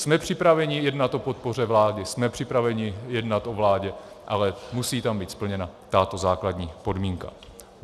Jsme připraveni jednat o podpoře vlády, jsme připraveni jednat o vládě, ale musí tam být splněna tato základní podmínka.